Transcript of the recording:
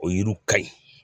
O yiriw ka ɲi.